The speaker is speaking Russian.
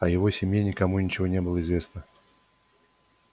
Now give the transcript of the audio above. о его семье никому ничего не было известно